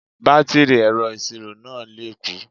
Bátìrì ẹ̀rọ ìṣirò náà lè kú